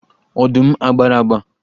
Ọdụm a gbara agba?